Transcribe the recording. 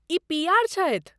ई PR. छथि।